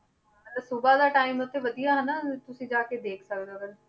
ਹਾਂ ਤੇ ਸੁਬਾ ਦਾ time ਉੱਥੇ ਵਧੀਆ ਹਨਾ ਤੁਸੀਂ ਜਾ ਕੇ ਦੇਖ ਸਕਦੇ ਹੋ ਅਗਰ